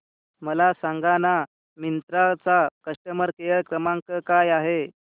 मला सांगाना मिंत्रा चा कस्टमर केअर क्रमांक काय आहे